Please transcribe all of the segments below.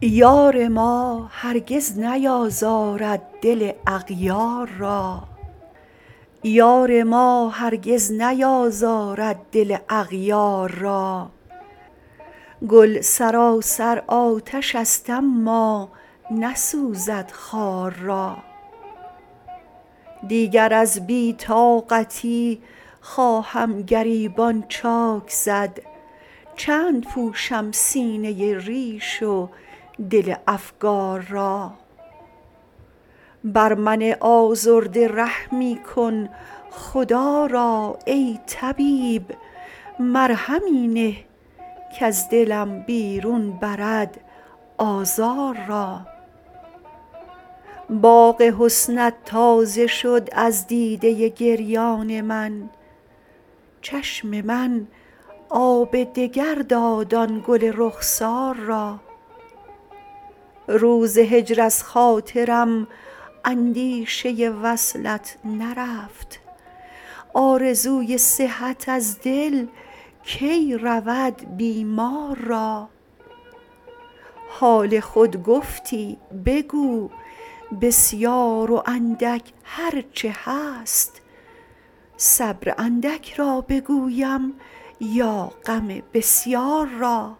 یار ما هرگز نیازارد دل اغیار را گل سراسر آتشست اما نسوزد خار را دیگر از بی طاقتی خواهم گریبان چاک زد چند پوشم سینه ریش و دل افگار را بر من آزرده رحمی کن خدا را ای طبیب مرهمی نه کز دلم بیرون برد آزار را باغ حسنت تازه شد از دیده گریان من چشم من آب دگر داد آن گل رخسار را روز هجر از خاطرم اندیشه وصلت نرفت آرزوی صحت از دل کی رود بیمار را حال خود گفتی بگو بسیار و اندک هرچه هست صبر اندک را بگویم یا غم بسیار را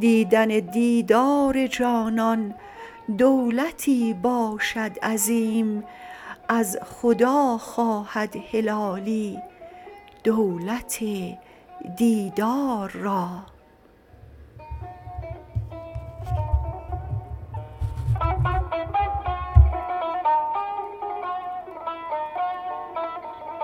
دیدن دیدار جانان دولتی باشد عظیم از خدا خواهد هلالی دولت دیدار را